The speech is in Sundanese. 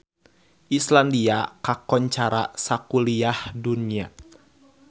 Islandia kakoncara sakuliah dunya